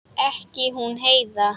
Ekki hún Heiða.